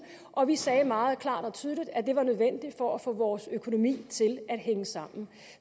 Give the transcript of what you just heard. og vi sagde meget klart og tydeligt at det var nødvendigt for at få vores økonomi til at hænge sammen